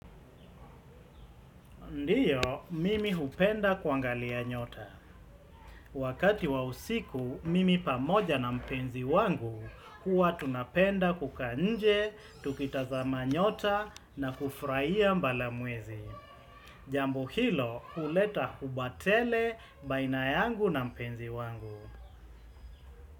Ndiyo, mimi hupenda kuangalia nyota. Wakati wa usiku, mimi pamoja na mpenzi wangu, huwa tunapenda kukaa nje, tukitazama nyota na kufraia mbalamwezi. Jambu hilo, huleta huba tele, baina yangu na mpenzi wangu.